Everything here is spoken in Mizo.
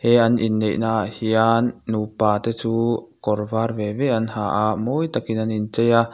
he an in neihnaah hian nupate chu kawr var ve ve an ha a mawi tak in an in chei a.